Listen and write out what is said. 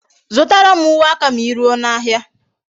Zutara m uwe aka ma I ruo n'ahia